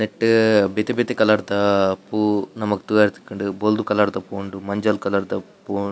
ನೆಟ್ಟ್ ಬೇತೆ ಬೇತೆ ಕಲರ್ ದ ಪೂ ನಮಕ್ ತೂವರೆ ತಿಕ್ಕುಂಡು ಬೊಲ್ದು ಕಲರ್ ದ ಪೂ ಉಂಡು ಮಂಜಲ್ ಕಲರ್ ದ ಪೂ ಉಂಡು.